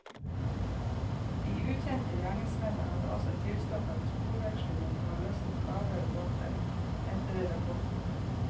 De ukjente gjerningsmennene hadde også tilstoppet sporvekslingen og løsnet kabler og bolter, heter det i rapporten.